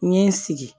N ye n sigi